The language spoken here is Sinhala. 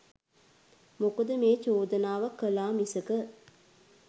මොකද මේ චෝදනාව කළා මිසක